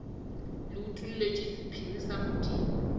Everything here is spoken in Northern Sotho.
le utolletšwe sephiri sa modimo